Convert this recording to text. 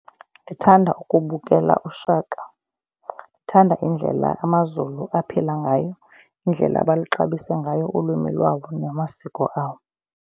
Ndithanda ukubukela uShaka. Ndithanda indlela amaZulu aphila ngayo, indlela abaluxabise ngayo ulwimi lwabo namasiko awo.